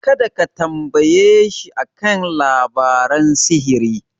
Kada ka tambayeshi a kan labaran sihiri.